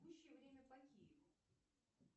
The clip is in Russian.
текущее время по киеву